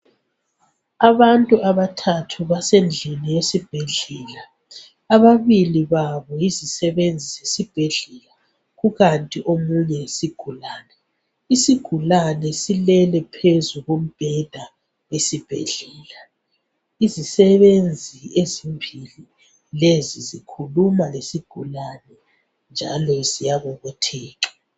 Abantu abathathu basendlini yesibhedlela , ababili babo yizisebenzi zesibhedlela kukanti omunye yisigulane , isigulane sulele phezu kombheda esibhedlela , izisebenzi ezimbili lezi zikhuluma lesigulane njalo ziyabobotheka